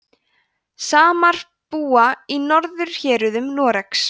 samar búa í norðurhéruðum noregs